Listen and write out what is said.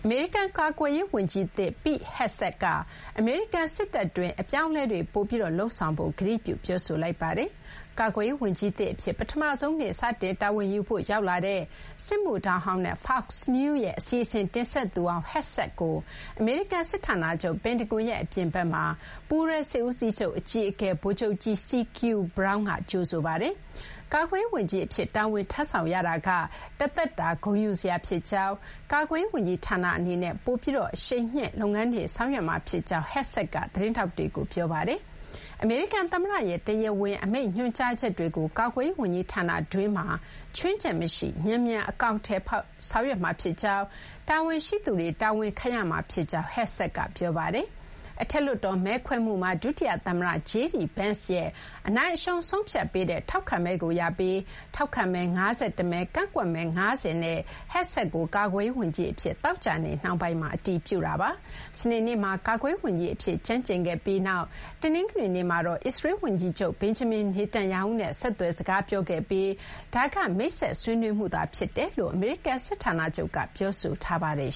မေရိကန်ကာကွယ်ရေး ဝန်ကြီးသစ် Pete Hegseth က အမေရိကန်စစ်တပ်အတွင်း အပြောင်းအလဲတွေ ပိုပြီးလုပ်ဆောင်ဖို့ ကတိပြုပြောဆိုလိုက်ပါတယ်။ ကာကွယ်ရေးဝန်ကြီးသစ်အဖြစ် ပထမဆုံးနေ့ စတင်တာဝန်ယူဖို့ ရောက်လာတဲ့ စစ်မှုထမ်းဟောင်းနဲ့ Fox News ရဲ့ အစီအစဉ် တင်ဆက်သူဟောင်း Hegseth ကို အမေရိကန် စစ်ဌာနချုပ် ပင်တဂွန်ရဲ့ အပြင်ဘက်မှာ ပူးတွဲ စစ်ဦးစီးချုပ် အကြီးအကဲ ဗိုလ်ချုပ်ကြီး CQ Brown က ကြိုဆိုပါတယ်။ ကာကွယ်ရေး ဝန်ကြီးအဖြစ် တာဝန်ထမ်းဆောင်ရတာက တသက်တာဂုဏ်ယူစရာ ဖြစ်ကြောင်း၊ ကာကွယ်ရေး ဝန်ကြီးဌာနအနေနဲ့ ပိုပြီး အရှိန်မြှင့် လုပ်ငန်းတွေ ဆောင်ရွက်မှာ ဖြစ်ကြောင်းလည်း Hegseth က သတင်းထောက်တွေကို ပြောခဲ့ပါတယ်။ အမေရိကန် သမ္မတရဲ့ တရားဝင် အမိန့်ညွှန်ကြားချက်တွေကို ကာကွယ်ရေးဝန်ကြီးဌာနတွင်းမှာ ခြွင်းချက် မရှိ မြန်မြန် အကောင်အထည်ဖော် ဆောင်ရွက်မှာဖြစ်ကြောင်း၊ တာဝန်ရှိသူတွေ တာဝန်ခံရမှာ ဖြစ်ကြောင်း Hegseth က ပြောပါတယ်။ အထက်လွှတ်တော် မဲခွဲမှုမှာဒုတိယ သမ္မတ JD Vance ရဲ့ အနိုင်အရှုံးဆုံးဖြတ်ပေးတဲ့ ထောက်ခံမဲကို ရပြီး ထောက်ခံမဲ ၅၁ မဲ၊ ကန့်ကွက်မဲ ၅၀ နဲ့ Hegseth ကို ကာကွယ်ရေးဝန်ကြီးအဖြစ် သောကြာနေ့ နှောင်းပိုင်းမှာ အတည်ပြုခဲ့တာပါ။ စနေနေ့မှာ ကာကွယ်ရေးဝန်ကြီးအဖြစ် ကျမ်းကျိန်ခဲ့ပြီးနောက် တနင်္ဂနွေနေ့မှာတော့ အစ္စရေးလ် ဝန်ကြီးချုပ် Benjamin Netanyahu နဲ့ ဆက်သွယ် စကားပြောခဲ့ပြီး ဒါက မိတ်ဆက်ဆွေးနွေးမှု ဖြစ်တယ်လို့ အမေရိကန် စစ်ဌာနချုပ် ပင်တဂွန်က ပြောဆိုထားပါတယ်